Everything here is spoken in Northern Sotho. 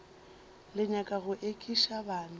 le nyaka go ekiša bana